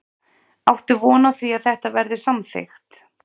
Lára: Áttu von á því að þetta verði samþykkt?